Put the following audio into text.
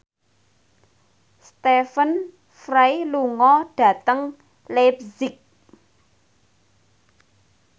Stephen Fry lunga dhateng leipzig